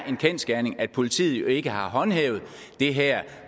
en kendsgerning at politiet ikke har håndhævet det her